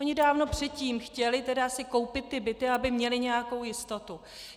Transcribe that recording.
Oni dávno předtím chtěli si koupit ty byty, aby měli nějakou jistotu.